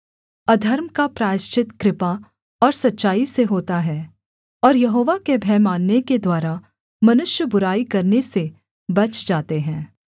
अधर्म का प्रायश्चित कृपा और सच्चाई से होता है और यहोवा के भय मानने के द्वारा मनुष्य बुराई करने से बच जाते हैं